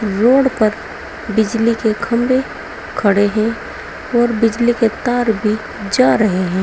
Road पर बिजली के खंभे खड़े हैं और बिजली के तार भी जा रहे हैं।